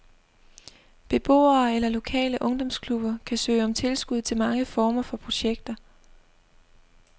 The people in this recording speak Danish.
Beboere eller lokale ungdomsklubber kan søge om tilskud til mange former for projekter.